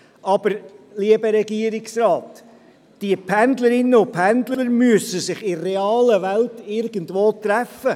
Aber, lieber Regierungsrat, die Pendlerinnen und Pendler müssen sich in der realen Welt irgendwo treffen.